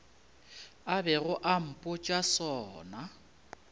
a bego a mpotša sona